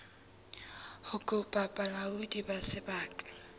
ho kopa bolaodi ba sebaka